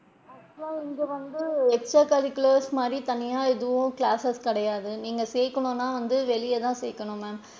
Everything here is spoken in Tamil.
Actual லா இங்க வந்து extra curricular activities மாதிரி தனியா எதுவும் classes கிடையாது நீங்க சேக்கனும்னா வந்து வெளிய தான் சேக்கணும் ma'am.